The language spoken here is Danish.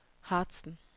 Harzen